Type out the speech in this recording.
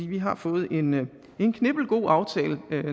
vi har fået en knippelgod aftale